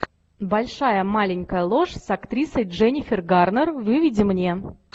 большая маленькая ложь с актрисой дженнифер гарнер выведи мне